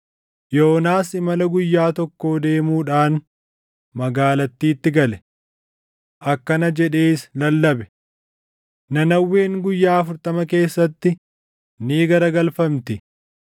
Yoonaas imala guyyaa tokkoo deemuudhaan magaalattiitti gale. Akkana jedhees lallabe: “Nanawween guyyaa afurtama keessatti ni garagalfamti.”